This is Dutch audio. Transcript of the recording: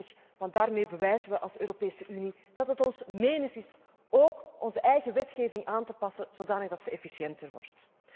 21. Daarmee bewijzen we als Europese Unie dat het ons menens is ook onze eigen wetgeving aan te passen zodanig dat ze efficiënter wordt.